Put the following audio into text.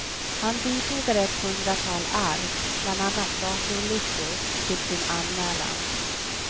Han bifogade ett hundratal ark, bland annat datorlistor, till sin anmälan.